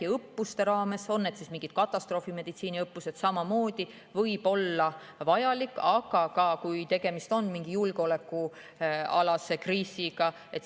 Näiteks õppuste raames, on need siis mingid katastroofimeditsiiniõppused, võib see samamoodi olla vajalik, aga ka siis, kui tegemist on mingi julgeolekukriisiga.